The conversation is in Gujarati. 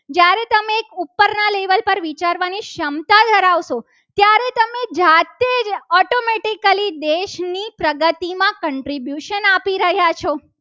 વિચારવાની ક્ષમતા ધરાવતો ત્યારે તમે જાતે જ automatically દેશની પ્રગતિમાં contribution આપી રહ્યા છો.